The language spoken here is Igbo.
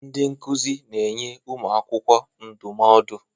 Ndị nkuzi na-enye ụmụ akwụkwọ ndụmọdụ